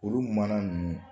Olu mana ninnu